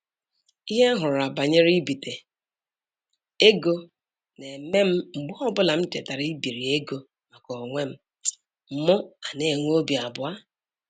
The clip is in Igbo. Ihe m hụrụla banyere ibite ego na-eme m mgbe ọbụla m chetara ibiri ego maka onwe m mụ ana-enwe obi abụọ